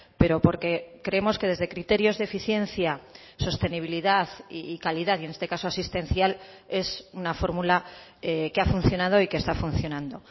pero porque creemos que desde criterios de eficiencia sostenibilidad y calidad y en este caso asistencial es una fórmula que ha funcionado y que está funcionando